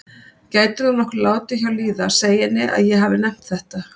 Gætirðu nokkuð látið hjá líða að segja henni að ég hafi nefnt þetta?